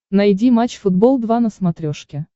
найди матч футбол два на смотрешке